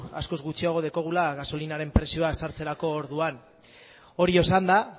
askoz gutxiago daukagula gasolinaren prezioa sartzerako orduan hori esanda